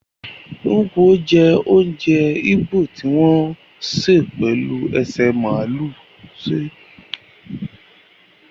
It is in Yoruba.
Nkwọbi jé ounjẹ igbo ti wọn se pelu ese maalu se